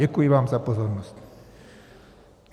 Děkuji vám za pozornost.